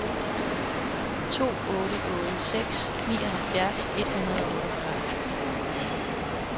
to otte otte seks nioghalvfjerds et hundrede og otteogfyrre